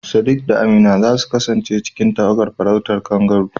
Sadiq da Amina za su kasance cikin tawagar farautar kangaroo